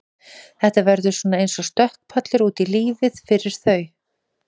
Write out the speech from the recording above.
Þetta verður svona eins og stökkpallur út í lífið fyrir þau.